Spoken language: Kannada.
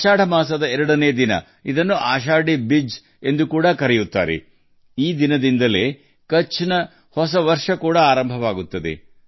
ಆಷಾಢ ದ್ವಿತೀಯ ಆಶಾಧಿ ಬಿಜ್ ಎಂದೂ ಕರೆಯಲ್ಪಡುವ ಈ ದಿನ ಕಚ್ನ ಹೊಸ ವರ್ಷದ ಆರಂಭವನ್ನು ಸೂಚಿಸುತ್ತದೆ